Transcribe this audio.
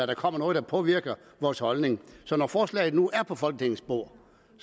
der kommer noget der påvirker vores holdning så når forslaget nu er på folketingets bord